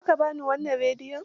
Za ka ba ni wannan rediyon?